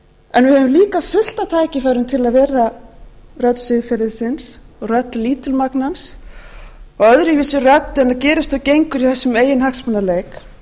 en við höfum líka fullt af tækifærum til að vera rödd siðferðisins rödd lítilmagnans og öðruvísi rödd en gerist og gengur í þessum eiginhagsmunaleik þá